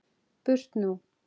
Burt nú!